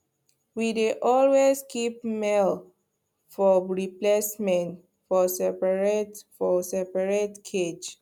we dey always keep male for replacement for seperate for seperate cage